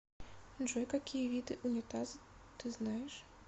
джой какие виды унитаз ты знаешь